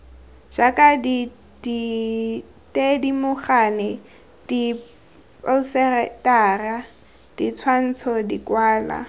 jaaka dithedimogane diphousetara ditshwantsho dikwalwa